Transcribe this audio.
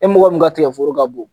E mɔgɔ min ka tigɛforo ka bon